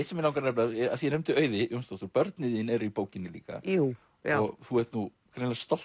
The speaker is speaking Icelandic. sem mig langar að nefna af því ég nefndi Auði Jónsdóttur börnin þín eru í bókinni líka og þú ert nú greinilega stolt